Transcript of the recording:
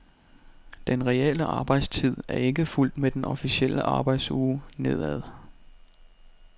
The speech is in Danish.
Den reelle arbejdstid er ikke fulgt med den officielle arbejdsuge nedad.